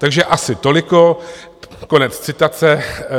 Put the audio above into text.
Takže asi toliko, konec citace.